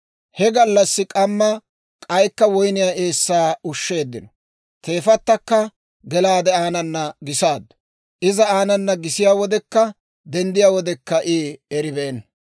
He gallassi k'amma k'aykka woyniyaa eessaa ushsheeddino; teefatakka gelaade aanana gisaaddu; iza aanana gisiyaa wodekka denddiyaa wodekka I eribeenna.